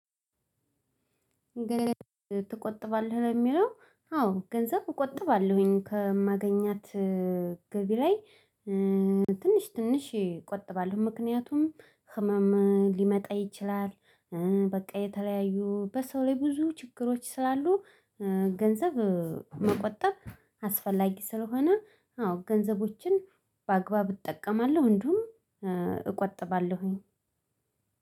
ግን ትቆጥባለህ? ለሚለው አዎ ገንዘብ እቆጥባለሁኝ ከማገኛት ገቢ ላይ ትንሽ ትንሽ ይቆጥባል ምክንያቱም ህመም ሊመጣ ይችላል፣ በቃ የተለያዩ በሰው ላይ ብዙ ችግሮች ስላሉ ገንዘብ መቆጠብ አስፈላጊ ስለሆነ አዎ ገንዘቦችን በአግባቡ እጠቀማለሁ እንደውም እቆጥባለሁኝ።